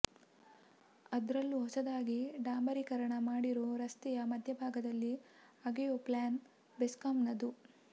ಅದ್ರಲ್ಲೂ ಹೊಸದಾಗಿ ಡಾಂಬರಿಕರಣ ಮಾಡಿರೋ ರಸ್ತೆಯ ಮಧ್ಯಬಾಗದಲ್ಲಿ ಅಗೆಯೋ ಪ್ಲಾನ್ ಬೆಸ್ಕಾಂನದು